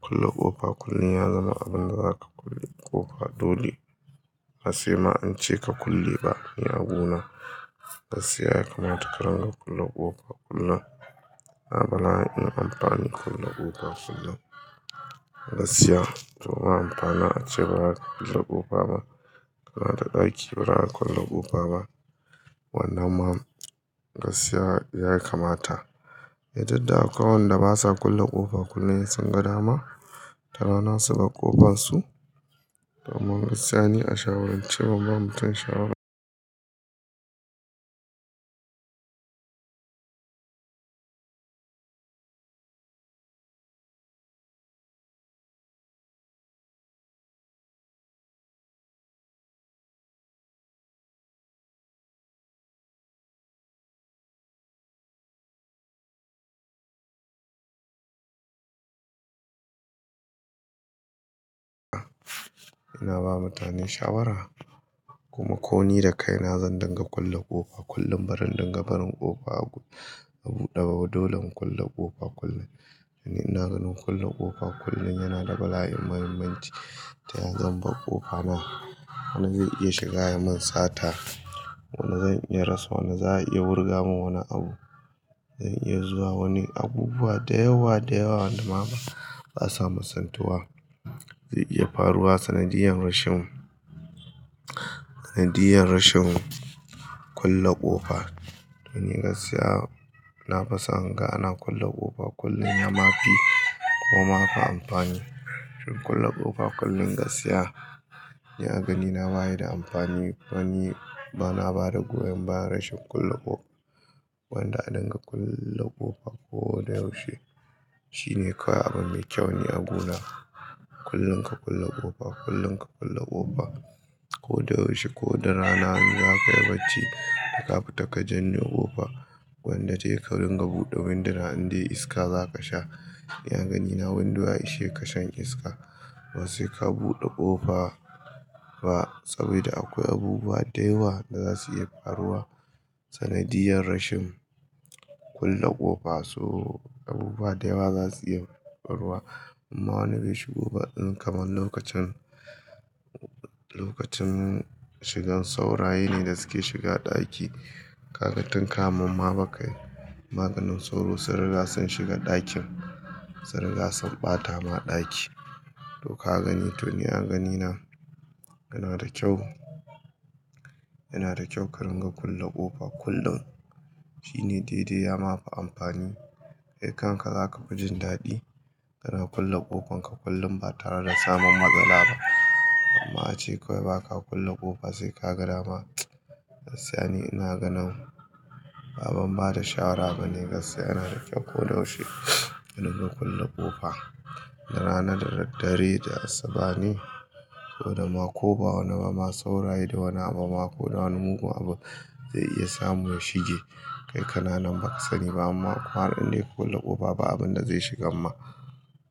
Kulle ƙofa kullum ya zama abin da zaka kulle ƙofa dole. Ba sai ma ance ka kulle ba ni a gu na. Gaskiya ya kamata ka rinƙa kulle ƙofa kullum. Na ga la'ayin amfanin kulle ƙofa kullum. Gaskiya to meye amfanin ace baza ka kulle ƙofa ba. Kana da ɗaki baza ka kulle ƙofa ba. Wannan ma gaskiya ya kamata. Eh duk da akwai wanda basa kulle ƙofa kullum sai sun ga dama da rana su bar ƙofansu. To wannan gaskiya ni a shawarance ban ba mutum shawara. Ina ba mutane shawara kuma ko ni da kai na zan dinga kulle ƙofa kullum. Barin dinga barin ƙofa a buɗe ba, dole in kulle ƙofa kullum. Dan ni ina ganin kulle ƙofa kullum yana da bala'in muhimmanci. Ta ya zan bar ƙofa ma, wani ze iya shiga ya mun sata. Wani zan iya rasa, wani za a iya wurga mun wani abu. Zan iya zuwa wani abubuwa da yawa da yawa wanda ma ma basa misaltuwa. Ze iya faruwa sanadiyar rashin, sanadiyar rashin kulle ƙofa. To ni gaskiya nafi son in ga ana kulle ƙofa kullum ya mafi ko ma ba amfani. raShin kulle ƙofa kullum gaskiya ni a ganina baya da amfani. To ni bana ba da goyon baya rashin kulle ƙofa. gWanda a dinga kulle ƙofa ko da yaushe, shine kawai abu me kyau ni a gu na. Kullun ka kulle ƙofa, kullun ka kulle ƙofa ko da yaushe ko da rana in zaka yi bacci ko ka fita ka janne ƙofa. Wanda tayi ka ringa buɗe winduna indai iska zaka sha. Ni a ganina windo ya ishe ka shan iska. Ba sai ka buɗe ƙofa ba saboda akwai abubuwa da yawa da za su iya faruwa. Sanadiyar rashin kulle ƙofa so abubuwa da yawa za su iya faruwa. Amma wani bai shigo ba irin kamar lokacin, lokacin shigan sauraye ne da suke shiga ɗaki. Kaga tun kamun ma bakai maganin soro, sun riga sun shiga ɗakin, su riga sun ɓata ma ɗaki. To ka gani to ni a ganina yana da kyau, yana da kyau ka ringa kulle ƙofa kullum. Shine daidai ya ma fi amfani. Kai kanka zaka fi jin daɗi, kana kulle ƙofanka kullum ba tare da samun matsala ba. Amma ace kawai baka kulle ƙofa sai ka ga dama. Gaskiya ni ina ganin ba abin bada shawara bane. Gaskiya yana da kyau ko da yaushe ka dinga kulle ƙofa. Da rana, da dare, da asuba ne. Saboda ma ko ba wani bama, sauraye da wani abu ma ko da wani mugun abu ze iya samu ya shige. Kai kananan ba ka sani ba, amma ƙwararre kulle ƙofa ba abun da zai shiga ma.